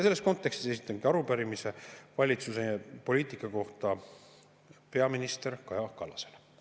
Selles kontekstis esitan arupärimise valitsuse poliitika kohta peaminister Kaja Kallasele.